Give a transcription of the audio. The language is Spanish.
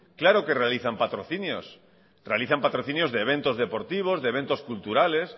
claro que realizan patrocinios realizan patrocinios de eventos deportivos de eventos culturales